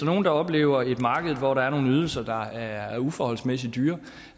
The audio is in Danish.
nogle der oplever et marked hvor der er nogle ydelser der er uforholdsmæssig dyre